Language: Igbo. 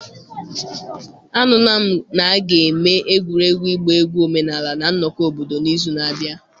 Anụla m na a ga-eme egwuregwu ịgba egwu omenala na nnọkọ obodo n'izu na-abịa.